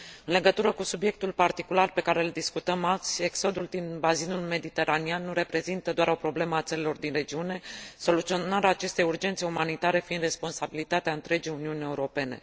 În legătură cu subiectul particular pe care îl discutăm azi, exodul din bazinul mediteraneean nu reprezintă doar o problemă a țărilor din regiune, soluționarea acestei urgențe umanitare fiind responsabilitatea întregii Uniuni Europene.